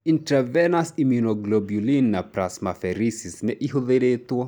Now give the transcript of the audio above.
Intravenous immunoglobulin na plasmapheresis nĩ ihũthĩrĩtũo.